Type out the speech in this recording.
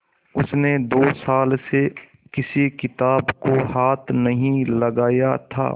उसने दो साल से किसी किताब को हाथ नहीं लगाया था